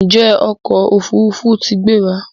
Njé ọkọ òfurufú t'in gbéra?